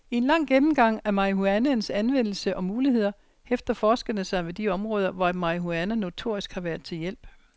I en lang gennemgang af marihuanaens anvendelse og muligheder hæfter forskerne sig ved de områder, hvor marihuana notorisk har været til hjælp.